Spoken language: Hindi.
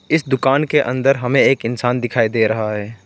इस दुकान के अंदर हमें एक इंसान दिखाई दे रहा है।